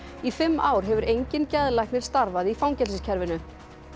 í fimm ár hefur enginn geðlæknir starfað í fangelsiskerfinu